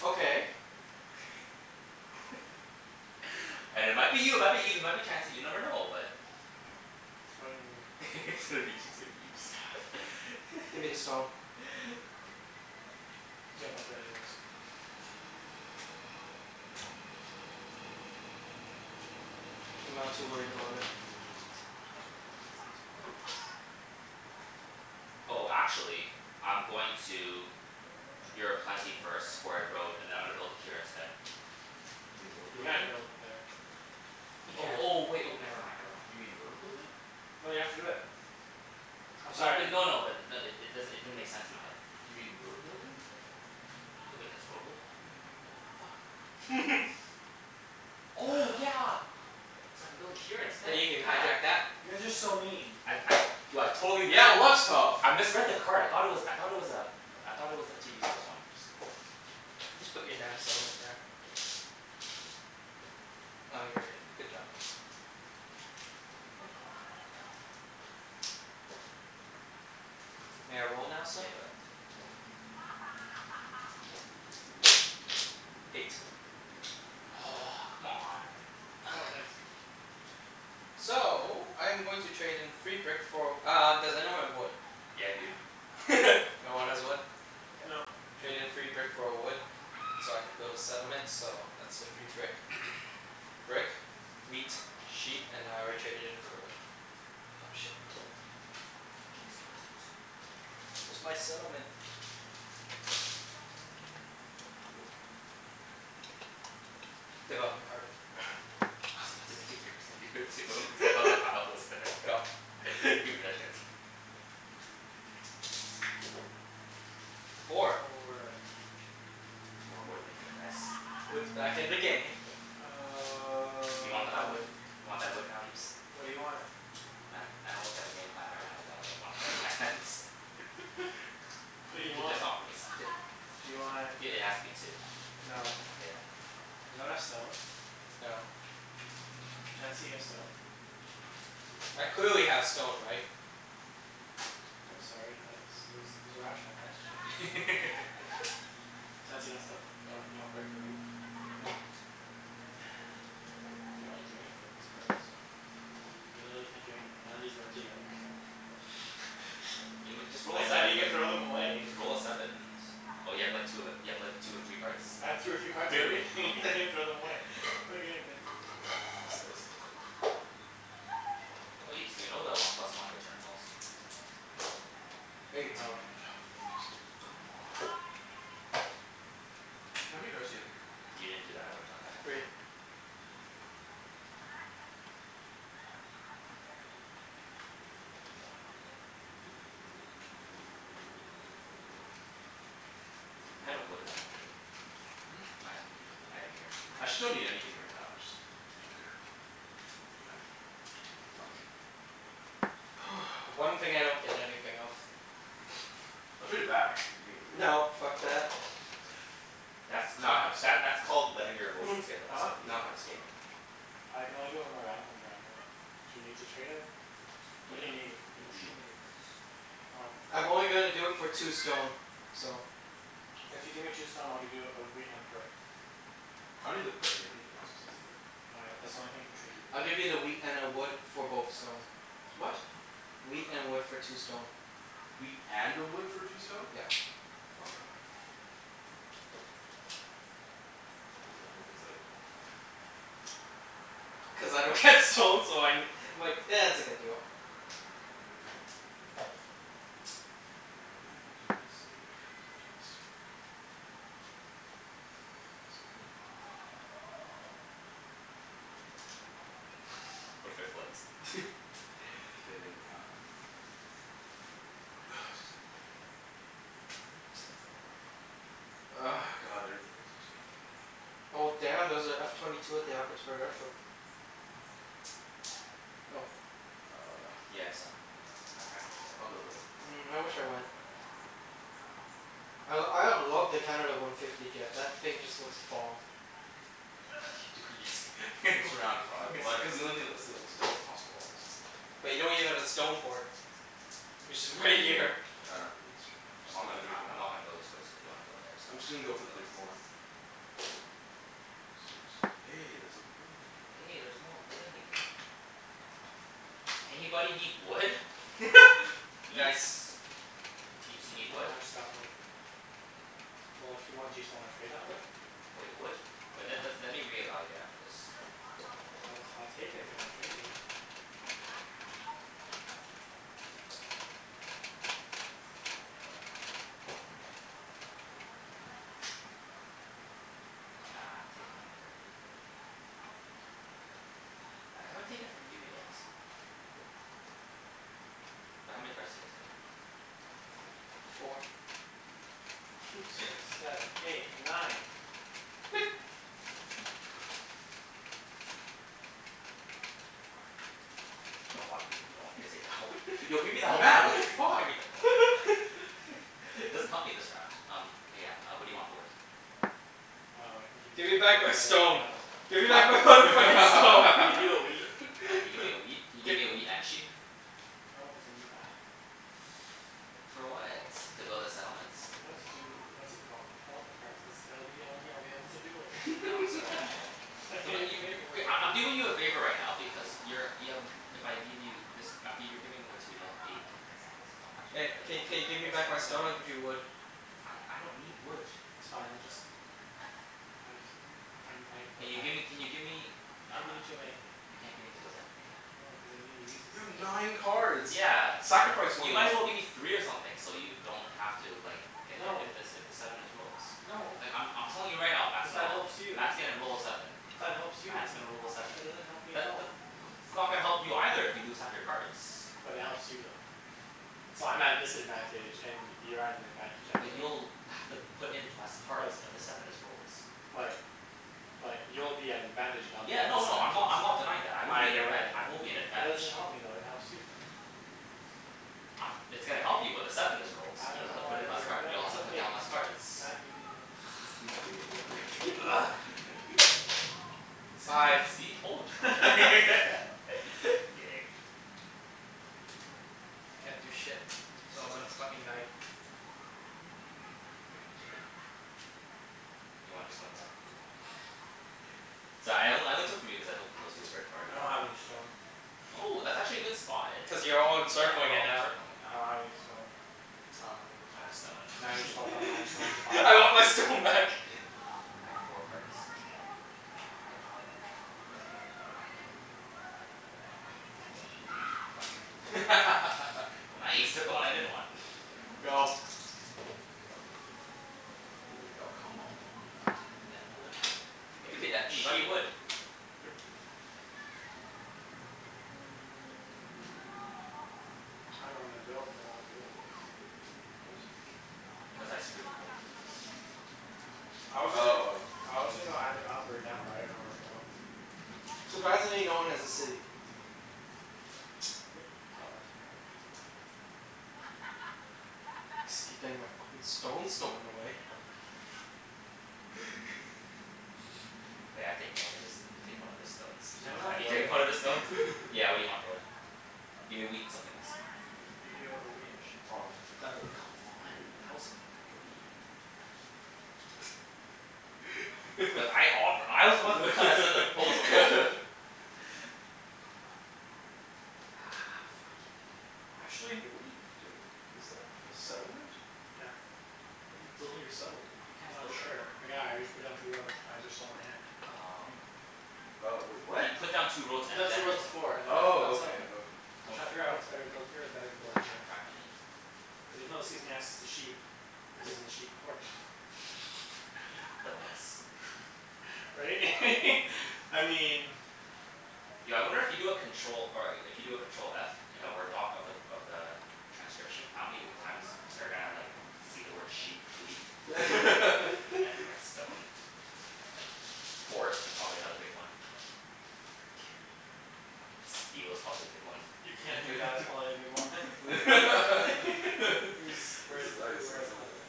Okay. And it might be you, it might be Ibs, it might be Chancey, you never know. But It's probably gonna be me. It's gonna be, it's gonna be Ibs. Ah, fine. Give me the stone. You can't flip it anyways. I'm not too worried about it. Elevens and twelves. Oh, actually I'm going to you're a plenty first for a road, and then I'm gonna build it here instead. You mean road You can't building? build it there. You Oh, can't. oh wait, oh never mind, never mind. You mean Fuck. road Fuck. building? No, you have to do it. I'm No b- sorry. no no, but i- n- it does'n- it didn't make sense in my head. You mean road building? Th- wait, that's road building? Yeah. Oh fuck. Oh yeah! So I can build it here instead. You can Yeah. hijack that. You guys are so mean. I'd I du- I totally missed Yeah, well, it. that's tough. I misread the card. I thought it was, I thought it was um I thought it was a two resource one. Just go. Just put your damn settlement there. Oh, you already did. Good job. Thank you. May I roll now, sir? Yeah, go ahead. K. Eight. Oh fuck. Aw, come on. Oh, nice. So, I'm going to trade in free brick for uh, does anyone have wood? Yeah dude. No. No one has wood? K. No. Trade in free brick for a wood so I can build a settlement so that's the free brick. Brick, wheat, sheep, and I already traded in for the wood. Oh, shit. How come these cards look so Where's my settlement? Boom. Development card. I was about to take yours and give it to him cuz I thought the pile was there. Go. Give me that Chancey. Four. Four. There's more wood in the game, guys. Wood's back in the game. What do you want for that wood? Um You want that wood now, Ibs? What do you want? I I don't really have a game plan right now cuz I only have one card in my hands. What do you J- just want? offer me something. Do you want I- it has to be two. No. Okay then, no. Does anyone have stone? No. Chancey, you have stone? No. I clearly have stone, right? I'm sorry, that was, it was it was a rational question. What? Chancey, you got stone? You want you Nope. want brick or wheat? Nope. I can't really do anything with these cards. I literally can't do anything. None of these work together. You know, just roll I a can't seven, you even get throw w- them away. Just roll a seven and Oh, you have like two of ev- you have like two of three cards? I have two or three cards of everything. I can't even throw them away. Okay, I'm good. Pass the dice then. Oh, Ibs, do you know the one plus one return policy? Eight. No. For fuck's sakes. Come on. Mm. How many cards do you have in your hand? If you didn't do that I would've done that. Three. Three? All right, gimme a card. I had a wood if you wanted it. Hmm? I No, ha- I didn't need a wood. I had a guaranteed I wood. actually don't need anything right now. I just don't care. Fuck. The one thing I don't get anything of. I'll trade it back if you gimme the wheat. No, fuck that. That's Now called, I have that stone. that's called letting your emotions get the best Huh? of you Now I in have this stone. game. I can only do it when my round comes around, though. Do you need to trade it? What Yeah. do you need? I need Don't show wheat. me your cards. Oh. I'm only gonna do it for two stone. So If you give me two stone I'll give you a wheat and a brick. I don't need the brick. Do you have anything else besides the brick? No, I, that's the only thing I can trade you. I'll give you the wheat and a wood for both stone. What? Wheat and wood for two stone. Wheat and a wood for two stone? Yep. Okay, I'm done. Those are the only things that I don't have. Cuz I don't get stone so I ne- I'm like, it's a good deal. Am I about to waste it? Yeah, I'm about to waste it. Pass a card? What if I flipped? K, I'm Ah, excuse me. God, I don't really need to do anything. Oh damn, there's a F twenty two at the Abbotsford Air Show. Okay. Yo. Uh Yeah, I saw. My friend was there. I'll build it. Mm, Why I not? wish I went. I l- I love the Canada one fifty jet. That thing just looks bomb. What you do- Just around five. Like cuz the only thing, that's the onl- that's the best possible odds. But you don't even have a stone port. Which Hmm? is right here. I don't need the stone port. I'm I'm just not gonna go for gonna, three I for I'm one. not gonna go this way, so if you wanna go there I'm just gonna you go for can the three go. for one. Six. Hey, there's a wood in the game now. Hey, there's more wood in the game. Anybody need wood? Ibs? Nice. Ibs, you Even need though wood? I just got wood. K, well Well, if you want, do you still wanna trade that wood? Wait, wood? Wait, let's Yeah? let me reevaluate after this. I'll t- I'll take it if you wanna trade it. Nah, I've taken from you already. I haven't taken from you yet. But how many cards do you guys have? Three. Four. Five six seven eight nine. You don't want me, you don't want me to take that one? Yo, give me that one. Mat! What the Give fuck? me that one. It doesn't help me this round. Um, uh yeah, uh what do you want for wood? Um, I can give you Give me the, back my stone. no. Give me back my mother fucking I stone. can give you a wheat. Uh, you give me a wheat? Can you give me a Gi- wheat and a sheep? No, cuz I need that. For what? To build a settlement? No, to do, what's it called? Development cards, cuz it'll be the only thing I'll be able to do later. No, sorry, I have I Come can't on, even you do you anything Okay, later. I I'm doing you a favor right now because you're y- um if I give you this um, g- you're giving away two. You'll have eight in your hands. Oh, actually, Hey, that doesn't k help k you That give me doesn't that much. back help my me stone, I'll give you that much. wood. I I don't need wood. It's fine, let just I just I n- I, like, Can you I gimme, can you give me I uh, can't give you two of anything. you can't give me two of anything? No, cuz I need to use these You have things. nine cards! Yeah. Sacrifice You one of might them. as well give me three of something so you don't have to like get if No. if the s- if the seven is rolled. No. Like, I'm I'm telling you right now, Mat's Cuz gonna that roll helps you. Mat's gonna roll a seven. But that helps you. Mat's gonna roll a seven. That doesn't help me at That the all. th- what that's not gonna help you either if you lose half your cards. But it helps you, though. So, I'm at a disadvantage and you're at an advantage either But way. you'll have to put in less But cards if the seven is rolled. But But you'll be at an advantage and I'll be Yeah, at a no no, I'm disadvantage. not, I'm not denying that. I will be in Either advantag- way. I will be in But that doesn't advantage. help me though. It helps you, though. I'm, it's gonna help you when the seven is rolled. I don't You'll have know to put why in less we're, card, no, you'll have it's to put okay. down less cards. Mat, you can go. This this is greatest thing ever. Seven. Sive. See? Told y- I'm kidd- I'm kidding. Can't do shit, so I'm gonna fucking knight. Again? You want your stone back? Sorry, I on- I only took from you cuz I took from those two albr- I already. don't have any stone. Oh, that's actually a good spot. Cuz you're all Yeah, we're encircling it all now. encircling it I now. don't have any stone. I don't have any I have a stone. Now you just fucked up my only stone. stone supply. I want my stone back. I have four cards. Fuck. Nice! Took the one I didn't want. Go. Three. Oh, come on. Give me that wood. Hey Give me there's a, that hey, you got sheep. your wood. Yep. I dunno where I'm gonna build, but I'll do it. What? Cuz I screwed him over with this. I was Oh, oh, gonna go oh. I was gonna go either up or down, but I didn't know where to go. Surprisingly, no one has a city. Yep. It's not that surprising. Just keep getting my fucking stone stolen away. taken one of his, now you take one of his stones. Does anyone have Have you wood? taken one of his stones? Yeah, what do you want for wood? Give me wheat and something else. I'll give you a wheat and a sheep. Oh, I'm done. Done. Come on, tell us, for me. But I offe- I was the one who kinda said the proposal. Ah, fuck. He did it. Actually Hey, what are you doing? Is that a settlement? Yeah. A How are you what? building your settlement? You I'm can't not build sure. anywhere. Yeah, I just put down two roads, but I just sold my hand. Oh, You okay okay. You oh, wait. What? He put down two I roads put down and two then roads the set- before and now I'm building a Oh, okay. settlement. Okay. I'm I'm trying to sorry. figure out Oh. if it's better to build here or better to I was build trying here. to crack my knee. Cuz even though this gives me access to sheep this is a sheep port. Dilemmas. Right? I mean Yo, I wonder if you do a control, or a- if you do a control f in a Word doc of the of the transcription, how many w- times they're gonna like see the word sheep, wheat and like stone? Port is probably another big one. Steel is probably a big one. You can't do that, it's probably a big one. Where's He's, where's the the, dice? Oh, where, it's over oh there.